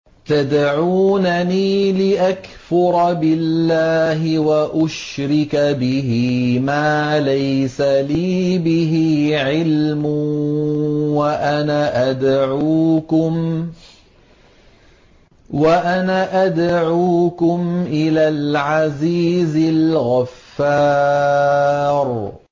تَدْعُونَنِي لِأَكْفُرَ بِاللَّهِ وَأُشْرِكَ بِهِ مَا لَيْسَ لِي بِهِ عِلْمٌ وَأَنَا أَدْعُوكُمْ إِلَى الْعَزِيزِ الْغَفَّارِ